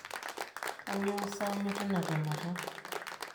Kanyioo sa aanyu teina temata?